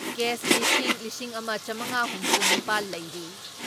Case ꯂꯤꯁꯤꯡ ꯂꯤꯁꯤꯡ ꯑꯃ ꯆꯥꯃꯉꯥ ꯍꯨꯝꯐꯨ ꯅꯤꯄꯥꯜ ꯂꯩꯔꯤ ꯫